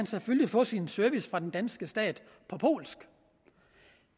selvfølgelig få sin service fra den danske stat på polsk